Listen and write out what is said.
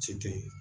Cɛ teyi